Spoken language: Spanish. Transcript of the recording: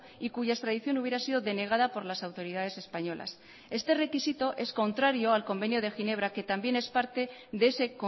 y cuya extradición hubiera sido denegada por las autoridades españolas este requisito es contrario al convenio de ginebra que también es parte de ese